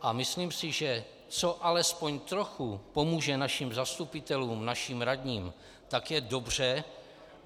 A myslím si, že co alespoň trochu pomůže našim zastupitelům, našim radním, tak je dobře.